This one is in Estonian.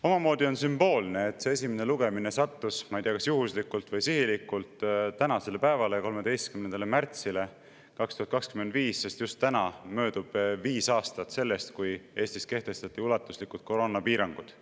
Omamoodi on sümboolne, et see esimene lugemine sattus – ma ei tea, kas juhuslikult või sihilikult – tänasele päevale, 13. märtsile 2025, sest just täna möödub viis aastat sellest, kui Eestis kehtestati ulatuslikud koroonapiirangud.